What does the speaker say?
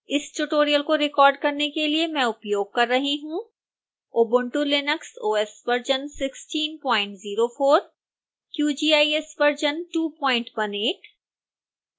इस tutorial को record करने के लिए मैं उपयोग कर रही हूँ